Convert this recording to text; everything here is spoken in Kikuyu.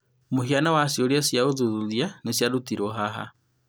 Hũhiana wa ciũria cia ũthuthuria nĩciarutirwo haha.